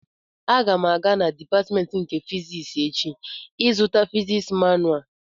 Aga m aga na dịpatmentị nke fiziks echi ịzụta fiziks manua